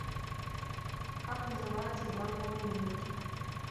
как называется дамба в америке